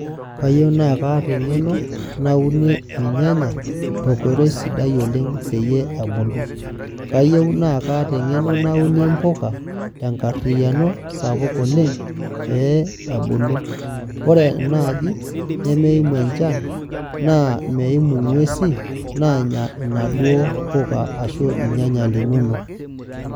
Kayiey na kaata engeno naunie irnyanya tenkoitoi sidai oleng peyie ebuku, kayieu na kaata engeno naunie mbuka tenkariano sapuk oleng peyie ebulu, ore enaaji nemeimu enchan na meimu ngwesi nanya duo mpuka ashu irnyanya linonok .